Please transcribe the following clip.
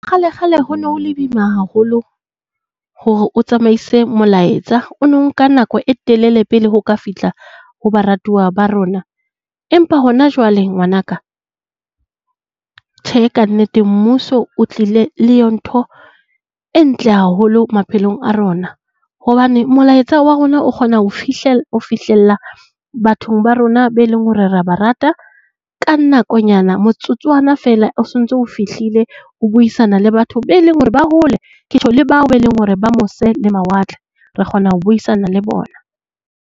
Kgale kgale ho no le boima haholo hore o tsamaise molaetsa. O no nka nako e telele pele ho ka fihla ho baratuoa ba rona. Empa hona jwale ngwanaka tjhe ka nnete mmuso o tlile le ntho e ntle haholo maphelong a rona. Hobane molaetsa wa rona o kgona ho ho fihlella bathong ba rona be leng hore hore re ba rata ka nakonyana, motsotswana feela o sontso o fihlile ho buisana le batho be leng hore ba hole. Ketjho le bao be leng hore ba mose le mawatle re kgona ho buisana le bona